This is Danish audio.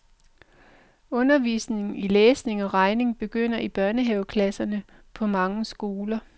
Undervisning i læsning og regning begynder i børnehaveklasserne på mange skoler.